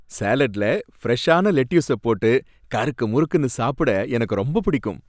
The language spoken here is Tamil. சாலட்ல ஃப்ரெஷ்ஷான லெட்யூஸ போட்டு கருக்கு முறுக்குனு சாப்புட எனக்கு ரொம்ப பிடிக்கும்.